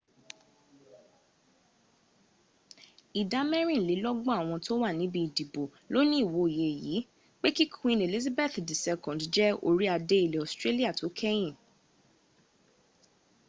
ìdá mẹ́rìnlélọ́gbọ̀n àwọn tó wà níbi ìdìbò ló ní ìwòye yìí pé kí queen elizabeth ii jẹ́ orí adé ilẹ̀ australia tó kẹ́yìn